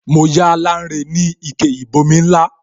Mo yá Lanre ni ike ìbomi ńlá